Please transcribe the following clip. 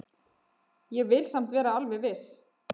Ég vil samt vera alveg viss.